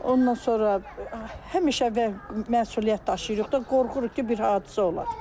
Ondan sonra həmişə və məsuliyyət daşıyırıq da, qorxuruq ki, bir hadisə olar.